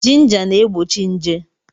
Jinja na-egbochi nje.